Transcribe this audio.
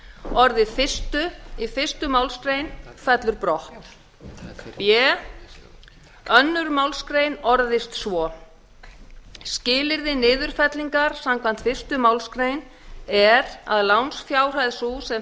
orðið fyrstu í fyrstu málsgrein fellur brott b önnur málsgrein orðist svo skilyrði niðurfellingar samkvæmt fyrstu málsgrein er að lánsfjárhæð sú sem